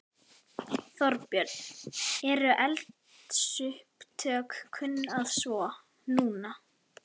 Þorbjörn: Eru eldsupptök kunn að svo. núna?